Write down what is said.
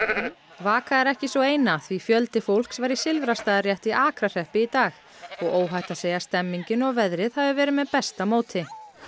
vaka er ekki sú eina því fjöldi fólks var í í Akrahreppi í dag og óhætt að segja að stemningin og veðrið hafi verið með besta móti